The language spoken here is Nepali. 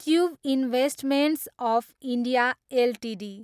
tube investments of India Ltd